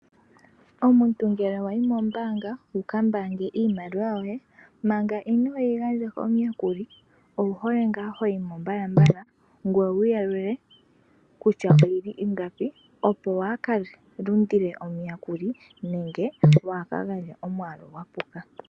Omuntu ngele wayi mombaanga wukambaange iimaliwa yoye, manga inooyigandja komuyakuli owuhole ngaa hoyimo mbalambala ngweye wuyalule kutya oyili ingapi. Opo waakalundile omuyakuli nenge waakagandje omwaalu gwapuka.